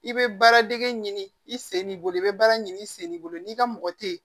I bɛ baaradege ɲini i sen b'i bolo i bɛ baara ɲini i sen de bolo n'i ka mɔgɔ te ye